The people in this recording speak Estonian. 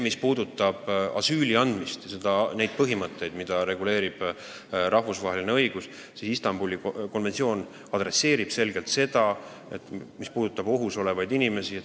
Mis puudutab asüüli andmist ja sellekohaseid põhimõtteid, mida reguleerib rahvusvaheline õigus, siis Istanbuli konventsioon peab selgelt silmas ohus olevaid inimesi.